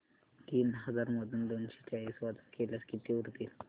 तीन हजार मधून दोनशे चाळीस वजा केल्यास किती उरतील